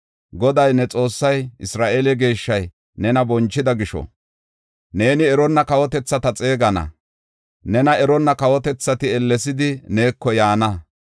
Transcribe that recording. Goday, ne Xoossay, Isra7eele Geeshshay nena bonchida gisho, neeni eronna kawotethata xeegana; nena eronna kawotethati ellesidi neeko yaana.”